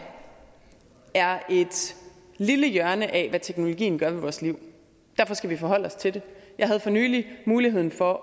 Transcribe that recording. er et lille hjørne af hvad teknologien gør ved vores liv og derfor skal vi forholde os til det jeg havde for nylig mulighed for